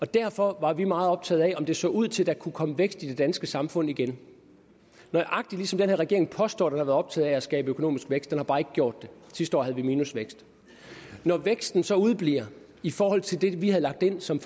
derfor var vi meget optaget af om det så ud til at der kunne komme vækst i det danske samfund igen nøjagtig ligesom den her regering påstår at været optaget af at skabe økonomisk vækst den har bare ikke gjort det sidste år havde vi minusvækst når væksten så udebliver i forhold til det vi havde lagt ind som